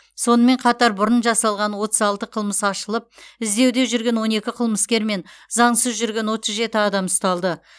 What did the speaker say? сонымен қатар бұрын жасалған отыз алты қылмыс ашылып іздеуде жүрген он екі қылмыскер мен заңсыз жүрген отыз жеті адам ұсталды